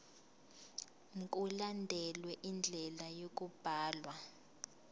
mkulandelwe indlela yokubhalwa